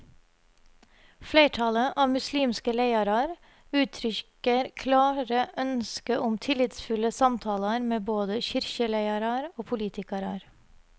Fleirtalet av muslimske leiarar uttrykker klare ønskje om tillitsfulle samtalar med både kyrkjeleiarar og politikarar.